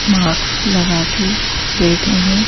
Mask लगा के बैठे हैं।